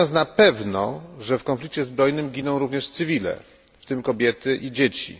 Wiemy natomiast na pewno, że w konflikcie zbrojnym giną również osoby cywilne, w tym kobiety i dzieci.